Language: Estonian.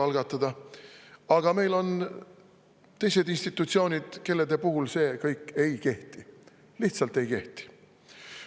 Aga meile on ka teised institutsioonid, kelle puhul kõik see ei kehti, lihtsalt ei kehti.